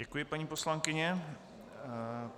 Děkuji, paní poslankyně.